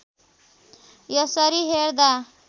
यसरी हेर्दा